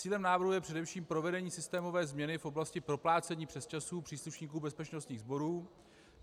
Cílem návrhu je především provedení systémové změny v oblasti proplácení přesčasů příslušníků bezpečnostních sborů.